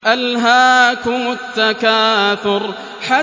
أَلْهَاكُمُ التَّكَاثُرُ